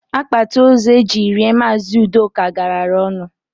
Akpatị ózu e jiri lie Maazị ụdoka galara ọnụ